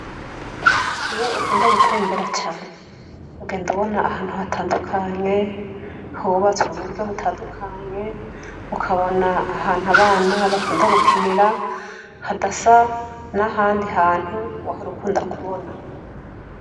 Iyo ukunda gutembera cane ugenda ubona ahantu hatandukanye hubatswe muburyo butandukanye, ukabona ahantu abana bakunda gukinira hadasa nahandi hantu wahora ukunda kubona.